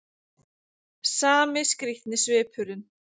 Sami skrýtni svipurinn.